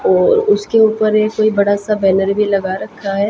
और उसके ऊपर एक कोई बड़ा सा बैनर भी लगा रखा है।